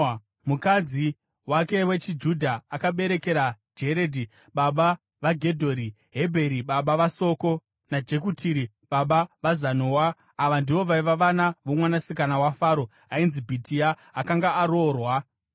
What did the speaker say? Ava ndivo vaiva vana vomwanasikana waFaro ainzi Bhitia akanga aroorwa naMeredhi. Mukadzi wake wechiJudha akabereka Jeredhi baba vaGedhori, Hebheri baba vaSoko, naJekutieri baba vaZanoa.